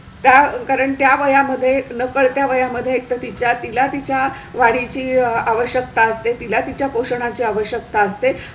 कारण त्या वया मध्ये नकडत्या वया मध्ये एकतर तिला तिच्या वाढीची आवश्यकता असते. तिला तिच्या पोषणाची आवश्यकता असते